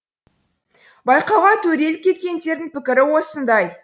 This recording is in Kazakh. байқауға төрелік еткендердің пікірі осындай